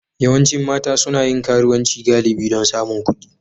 Yawancin mata suna yin karuwanci galibi don samun kuɗi